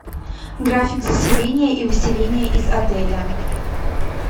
график заселения и выселения из отеля